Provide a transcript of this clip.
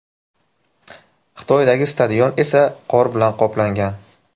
Xitoydagi stadion esa qor bilan qoplangan.